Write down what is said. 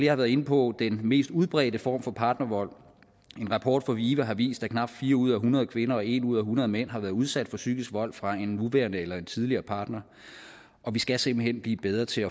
har været inde på den mest udbredte form for partnervold en rapport fra vive har vist at knap fire ud af hundrede kvinder og en ud af hundrede mænd har været udsat for psykisk vold fra en nuværende eller en tidligere partner og vi skal simpelt hen blive bedre til